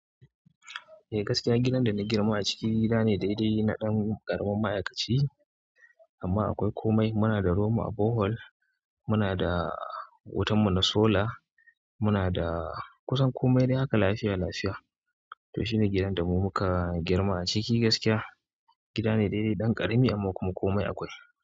Eh gaskiya, gidan da na girma a ciki gida ne daidai na ɗan ƙaramin ma'aikaci, amma akwai komai. Muna da ruwan mu a bohol, muna da wutan mu na solar, muna da kusan komai dai haka lafiya lafiya. To shine gidan da mu muka girma a ciki gaskiya. Gida ne daidai na ɗan ƙarami amma kuma komai akwai.